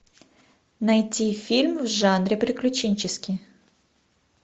найти фильм в жанре приключенческий